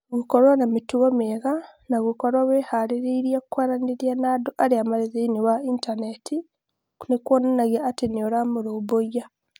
Gũkorũo na mĩtugo mĩega na gũkorũo wĩhaarĩirie kwaranĩria na andũ arĩa marĩ thĩinĩ wa Intaneti nĩ kuonanagia atĩ nĩ ũramarũmbũiya.